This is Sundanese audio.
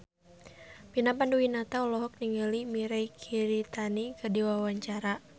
Vina Panduwinata olohok ningali Mirei Kiritani keur diwawancara